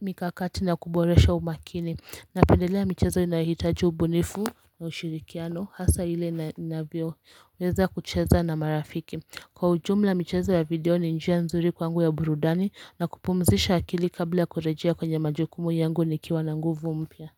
mikakati na kuboresha umakini napendelea michezo inayohitaji ubunifu na ushirikiano hasaa ile ninavyoweza kucheza na marafiki Kwa ujumla michezo ya video ni njia nzuri kwangu ya burudani na kupumzisha akili kabla kurejia kwenye majukumu yangu nikiwa na nguvu mpya.